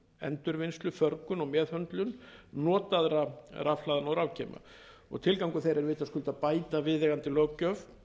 endurvinnslu meðhöndlun og förgun notaðra rafhlaðna og rafgeyma og tilgangur þeirra er vitaskuld að bæta viðeigandi löggjöf